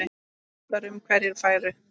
Rætt var um hverjir færu.